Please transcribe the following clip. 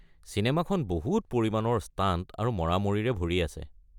চিনেমাখন বহুত পৰিমাণৰ ষ্টাণ্ট আৰু মৰামৰিৰে ভৰি আছে।